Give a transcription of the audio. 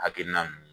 Hakilina nun